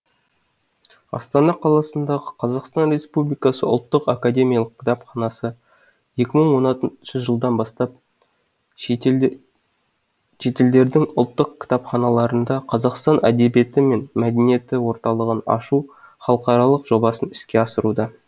астана қаласында қазақстан республикасы ұлттық академиялық кітапханасы екі мың оныншы жылдан бастап шетелдердің ұлттық кітапханаларында қазақстан әдебиеті мен мәдениеті орталығын ашу халықаралық жобасын іске асыруда